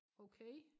Okay